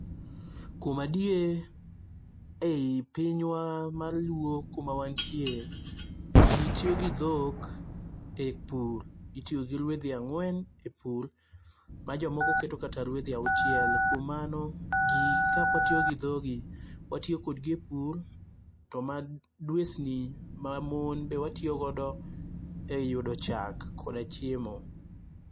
Kuom adier ei pinywa mar luo kuma wantie, ji tiyo gi dhok epur. Itiyo gi ruedhi ang'wen e pur, ma jomoko keto kata ruedhi auchiel. Kuom mano, gi kaka watiyo gi dhogi, watiyo kodgi e pur to madwesni , mamon be watiyogodo eyudo chak koda chiemo.